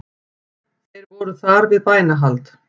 Þeir voru þar við bænahald